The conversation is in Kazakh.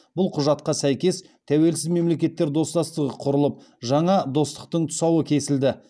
бұл құжатқа сәйкес тәуелсіз мемлекеттер достастығы құрылып жаңа достастықтың тұсауы кесілді